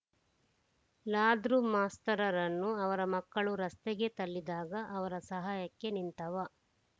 ಲಾದ್ರು ಮಾಸ್ತರರನ್ನು ಅವರ ಮಕ್ಕಳು ರಸ್ತೆಗೆ ತಳ್ಳಿದಾಗ ಅವರ ಸಹಾಯಕ್ಕೆ ನಿಂತವ